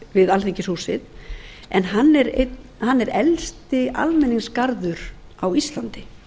við alþingishúsið en hann er elsti almenningsgarður á íslandi